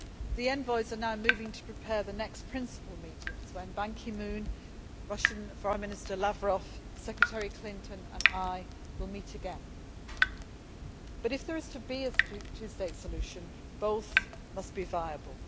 The envoys are now moving to prepare the next principal meetings when Ban Ki moon, the Russian Foreign Minister Lavrov, Secretary Clinton and I will meet again. But, if there is to be a two state solution, both states must be viable.